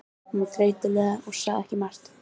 Hún var þreytuleg og sagði ekki margt.